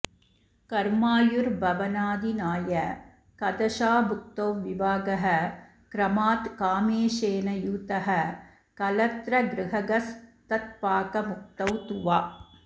कर्मायुर्भवनाधिनायकदशाभुक्तौ विवाहः क्रमात् कामेशेन यूतः कलत्रगृहगस्तत्पाकमुक्तौ तु वा